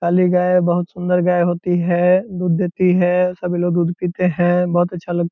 काली गाय है बहुत सुंदर गाय होती है दूध देती है सभी लोग दूध पीते हैं बहुत अच्छा लग --